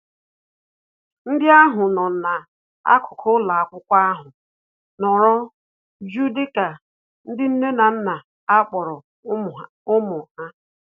Ndị agha nọ na-akuku ụlọakwụkwọ ahụ nọrọ jụụ dịka ndị nne na nna na-akpọrọ ụmụ ha